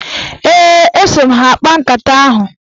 Ee, eso m ha akpa nkata ahụ.